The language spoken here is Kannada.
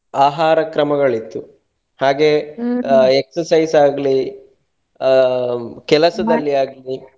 ಆಹಾರ ಕ್ರಮಗಳಿತ್ತು ಹಾಗೆ exercise ಆಗ್ಲಿ, ಹ ಆಗ್ಲಿ.